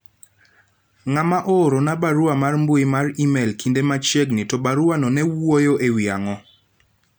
ng'ama oorona barua mar mbui mar email kinde machiegni to baruano ne wuoyo ewi ang'o